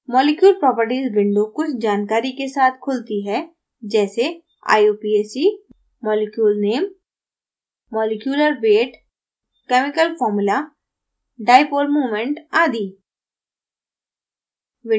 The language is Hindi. molecule properties window कुछ जानकारी के साथ खुलती है जैसे